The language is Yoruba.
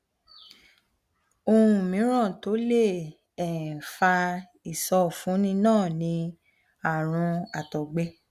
ohun mìíràn tó lè um fa ìsọfúnni náà ni àrùn àtọgbẹ